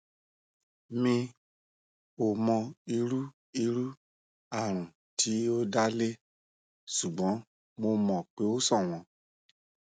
mi ò mọ irú irú àrùn tí ó dá lé ṣùgbọn mo mọ pé o ṣọwọn